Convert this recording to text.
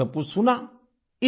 उन्होंने सब कुछ सुना